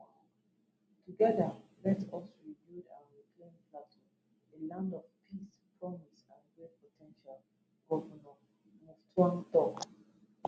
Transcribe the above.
together let us rebuild and reclaim plateau a land of peace promise and great po ten tial govnor muftwang tok